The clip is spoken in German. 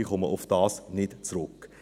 Darauf komme ich nicht zurück.